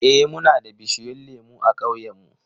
Eh, muna da bishiyun lemu a ƙauyen mu.